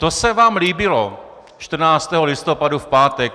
To se vám líbilo - 14. listopadu v pátek.